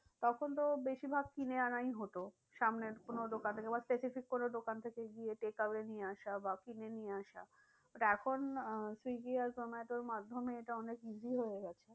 তখন তো বেশি ভাগ কিনে আনাই হতো। সামনের কোনো দোকান থেকে বা specific কোনো দোকান থেকে গিয়ে নিয়ে আসা বা কিনে নিয়ে আসা but এখন আহ সুইগী আর জোমাটো মাধ্যমে এটা অনেক easy হয়ে গেছে।